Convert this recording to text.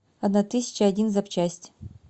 одна тысяча один запчасть